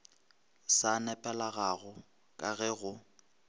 sa nepagalago ka ge go